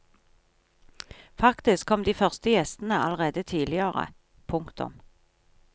Faktisk kom de første gjestene allerede tidligere. punktum